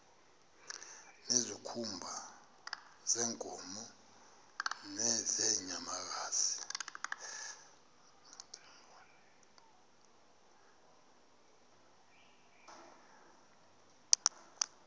ngezikhumba zeenkomo nezeenyamakazi